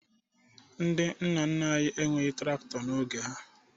Ndị nna nna anyị enweghi traktọ n'oge ha